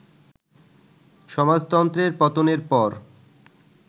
সমাজতন্ত্রের পতনের পর